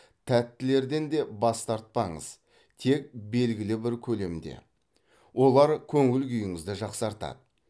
тәттілерден де бас тартпаңыз тек белгілі бір көлемде олар көңіл күйіңізді жақсартады